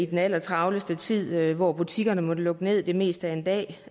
den allertravleste tid hvor butikkerne måtte lukke ned det meste af en dag